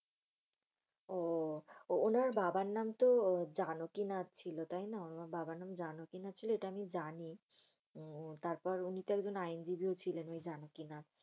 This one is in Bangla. আহ উনার বাবার নামতো জানকীনাথ। উনার বাবার নাম জানকীনাথ ছিল এটা আমি জানি। তারপর বনিতো একজন আইনজীবি ও ছিলেন ঐ জানকীনাথ।